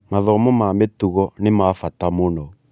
Mathomo ma mĩtugo nĩ ma bata mũno.